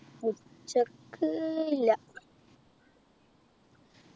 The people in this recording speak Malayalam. ഉച്ചയ്ക്ക് ഇല്ല